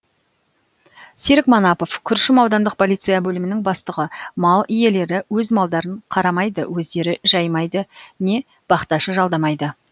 серік манапов күршім аудандық полиция бөлімінің бастығы мал иелері өз малдарын қармайды өздері жаймайды не бақташы жалдамайды